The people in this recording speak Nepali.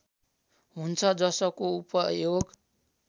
हुन्छ जसको उपयोग